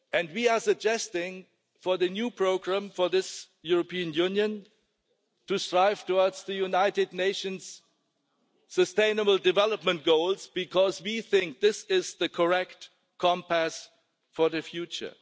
We are suggesting for the new programme for this European Union to strive towards the United Nations sustainable development goals, because we think this is the correct compass for the future.